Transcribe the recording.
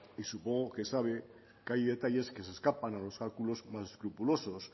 y supongo que sabe que hay detalles que se escapan a los cálculos más escrupulosos